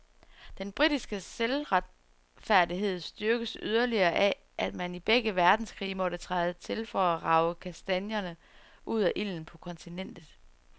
Den britiske selvretfærdighed styrkes yderligere af, at man i begge verdenskrige måtte træde til for at rage kastanierne ud af ilden på kontinentet.